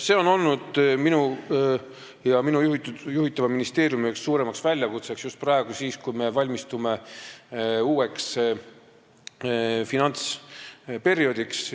See on olnud minu ja minu juhitava ministeeriumi üheks suuremaks väljakutseks, just praegu, kui me valmistume uueks finantsperioodiks.